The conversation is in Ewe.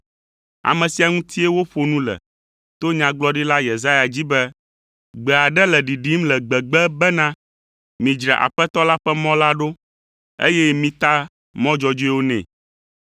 Ame sia ŋutie woƒo nu le to Nyagblɔɖila Yesaya dzi be, “Gbe aɖe le ɖiɖim le gbegbe bena, ‘Midzra Aƒetɔ la ƒe mɔ la ɖo, eye mita mɔ dzɔdzɔewo nɛ!’ ”